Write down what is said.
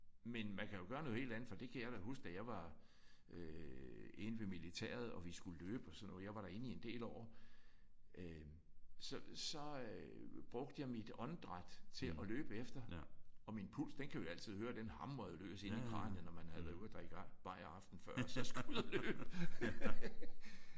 Men man kan jo gøre noget helt andet for det kan jeg da huske da jeg var øh inde ved militæret og vi skulle løbe og sådan noget. Jeg var derinde i en del år. Øh så så øh brugte jeg mit åndedræt til at løbe efter og min puls den kunne jeg altid høre. Den hamrede løs inde i kraniet når man havde været ude at drikke bajere aftenen før og så skulle ud at løbe